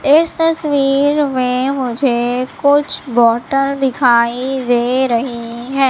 इस तस्वीर में मुझे कुछ बॉटल दिखाई दे रही है।